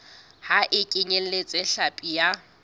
ha e kenyeletse hlapi ya